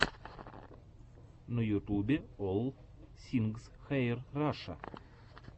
на ютубе олл сингс хэир раша